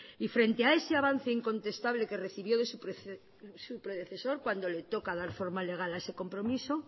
y frente a ese avance incontestable que recibió de su predecesor cuando le toca dar forma legal a ese compromiso